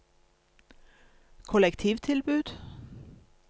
kollektivtilbud